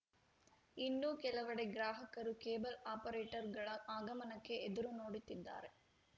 ಇನ್ನೂ ಕೆಲವೆಡೆ ಗ್ರಾಹಕರು ಕೇಬಲ್‌ ಆಪರೇಟರ್‌ಗಳ ಆಗಮನಕ್ಕೆ ಎದುರು ನೋಡುತ್ತಿದ್ದಾರೆ